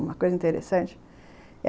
Uma coisa interessante.